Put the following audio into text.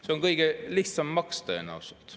See on kõige lihtsam maks tõenäoliselt.